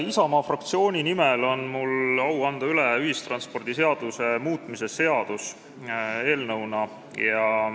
Isamaa fraktsiooni nimel on mul au anda üle ühistranspordiseaduse muutmise seaduse eelnõu.